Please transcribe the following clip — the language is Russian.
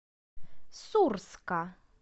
сурска